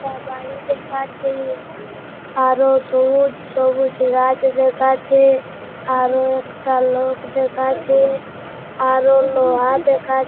একটা বাড়ি দেখা যাচ্ছে আরো সবুজ সবুজ গাছ দেখা যাচ্ছে আরো একটা লোক দেখা যাচ্ছে আরো লোহা দেখা--